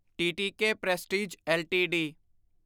T T K Prestige LTD